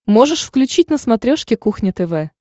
можешь включить на смотрешке кухня тв